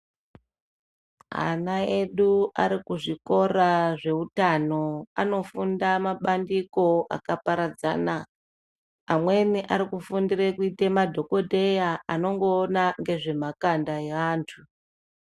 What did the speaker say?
Ana edu ari ku zvikora zve utano anofunda ma bandiko aka paradzana amweni ari kufundire kuite madhokoteya anongoona nge zvemakanda e vantu.